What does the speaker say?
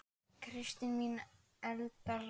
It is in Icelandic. Kristín mín og Eldar Hrafn.